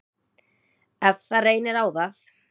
Ef það reynir á það.